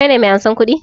Ka ne mai ansan kuɗi?